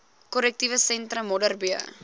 korrektiewe sentrum modderbee